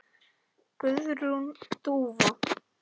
Guðrún Dúfa.